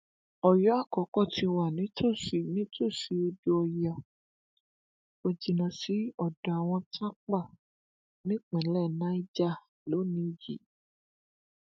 ọyọ àkọkọ ti wà nítòsí nítòsí odò ọyá kò jìnnà sí odò àwọn tápà nípínlẹ niger lónìín yìí